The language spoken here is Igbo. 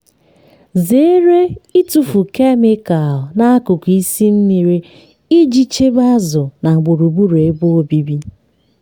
zere ịtụfu kemịkalụ n'akụkụ isi mmiri iji chebe azụ na gburugburu ebe obibi.